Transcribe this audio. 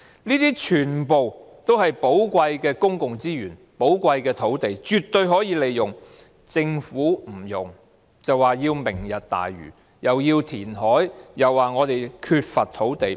這些全部都是寶貴的公共資源和土地，絕對可以利用，但政府不用，卻說要搞"明日大嶼"，既要填海，又說我們缺乏土地。